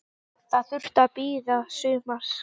Það þurfti að bíða sumars.